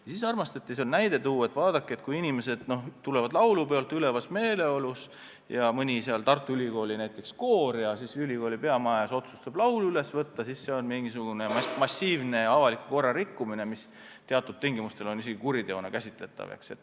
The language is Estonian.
Ent siis armastati tuua näide, et vaadake, et kui inimesed tulevad laulupeolt ülevas meeleolus ja näiteks Tartu Ülikooli koor otsustab ülikooli peamaja ees laulu üles võtta, kas see siis on massiivne avaliku korra rikkumine, mis teatud tingimustel on isegi kuriteona käsitatav.